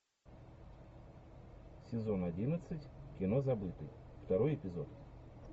сезон одиннадцать кино забытый второй эпизод